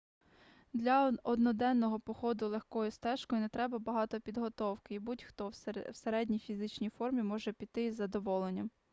для одноденного походу легкою стежкою не треба багато підготовки і будь-хто в середній фізичній формі може піти із задоволенням